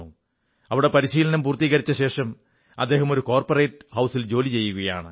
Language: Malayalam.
ഇവിടെ പരിശീലനം പൂർത്തീകരിച്ച ശേഷം അദ്ദേഹം ഒരു കോർപ്പറേറ്റ് സ്ഥാപനത്തിൽ ജോലി ചെയ്യുകയാണ്